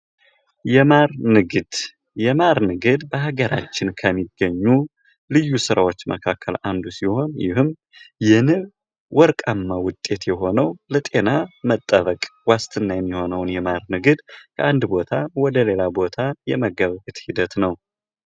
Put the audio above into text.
የማር ንግድ ። የማር ንግድ በሀገራችን ከሚገኙ ልዩ ስራዎች መካከል አንዱ ሲሆን ይህም የንብ ወርቃማ ውጤት የሆነው ለጤና መጠበቅ ዋስትና የሚሆነውን የማር ንግድ ከአንድ ቦታ ወደ ሌላ ቦታ የመገበያየት ሂደት ነው ።